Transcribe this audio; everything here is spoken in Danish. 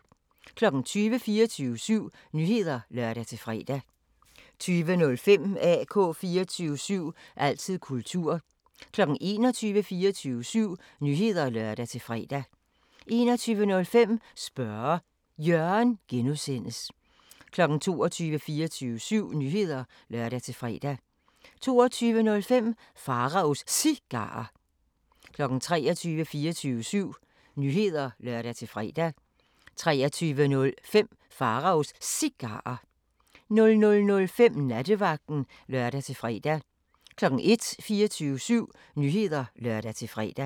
20:00: 24syv Nyheder (lør-fre) 20:05: AK 24syv – altid kultur 21:00: 24syv Nyheder (lør-fre) 21:05: Spørge Jørgen (G) 22:00: 24syv Nyheder (lør-fre) 22:05: Pharaos Cigarer 23:00: 24syv Nyheder (lør-fre) 23:05: Pharaos Cigarer 00:05: Nattevagten (lør-fre) 01:00: 24syv Nyheder (lør-fre)